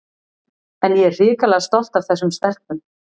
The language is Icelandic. En ég er hrikalega stolt af þessum stelpum.